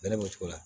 Bɛlɛbɛcogo la